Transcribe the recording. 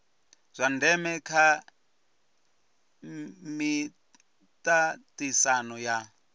zwa ndeme kha miaisano ya